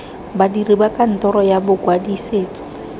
badiri ba kantoro ya bokwadisetso